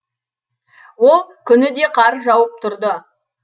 ол күні де қар жауып тұрды